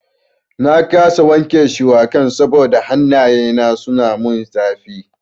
Na kasa wanke shuwakan saboda hannaye na suna mun zafi.